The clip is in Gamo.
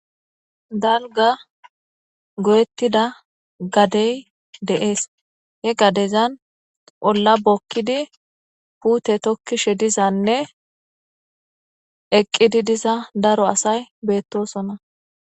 Dalgga goyetida gadey de'es he gadezan olla bookidi puute tokkishe dizanne eqqidi diza daro asay beetosona.